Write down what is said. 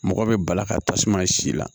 Mɔgɔ bɛ bala ka tasuma si la